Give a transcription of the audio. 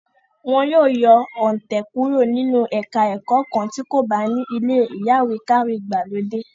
Wọ́n yóò yọ òǹtẹ̀ kúrò nínú ẹka ẹ̀kọ́ kan tí kò bá ní ilé ìyáwèékàwé ìgbàlódé.